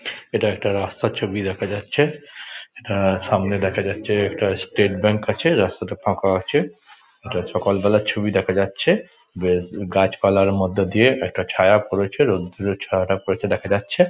এটা একটা রাস্তার ছবি দেখা যাচ্ছে এটা সামনে দেখা যাচ্ছে একটা স্টেট ব্যাঙ্ক আছে। রাস্তাটা ফাঁকা আছে এটা সকাল বেলার ছবি দেখা যাচ্ছে বেশ গাছপালার মধ্যে দিয়ে একটা ছায়া পড়েছে রোদ্দুরের ছায়াটা পড়েছে দেখা যাচ্ছে ।